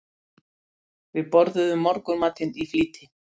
Við borðuðum morgunmatinn í flýti.